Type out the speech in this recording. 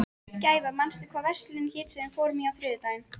Gæfa, manstu hvað verslunin hét sem við fórum í á þriðjudaginn?